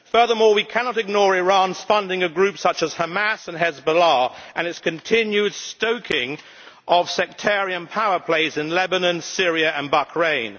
Furthermore, we cannot ignore Iran's funding of groups such as Hamas and Hezbollah and its continued stoking of sectarian power plays in Lebanon, Syria and Bahrain.